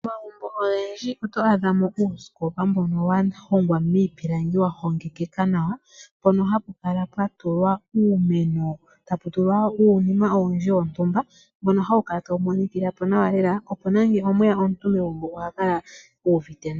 Momagumbo ogendji oto adhamo uusikopa mbono wa hongwa miipilangi wa hongekeka nawa, mpono hapu kala pwa tulwa uumeno, eta pu tulwa uunima owundji wontumba, mbono hawu kala tawu monikila po nawa lela, opo nande omweya omuntu megumbo oha kala u uviite nawa.